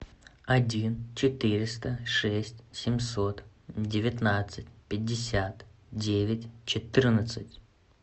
один четыреста шесть семьсот девятнадцать пятьдесят девять четырнадцать